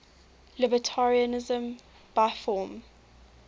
libertarianism by form